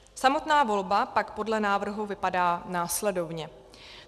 Samotná volba pak podle návrhu vypadá následovně.